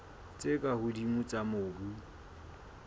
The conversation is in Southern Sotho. tse ka hodimo tsa mobu